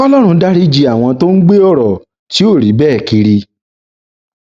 kòlórun dariji àwọn tó ń gbé ọrọ tí ò rí bẹẹ kiri